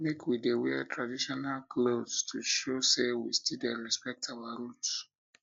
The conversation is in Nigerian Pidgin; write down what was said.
make we dey wear traditional clothes to show sey we still dey respect our roots